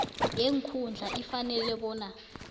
yeenkhundla ifanele bona